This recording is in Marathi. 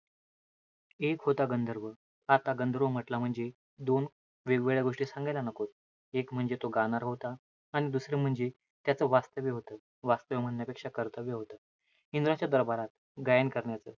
एक होता गंधर्व. आता गंधर्व म्हंटला म्हणजे, दोन वेगवेगळ्या गोष्टी सांगायला नकोत. एक म्हणजे तो गाणारा होता. आणि दुसरं म्हणजे त्याच वास्तव्य होतं. वास्तव्य म्हणण्यापेक्षा कर्तव्य होतं, इंद्राच्या दरबारात गायन करण्याचं.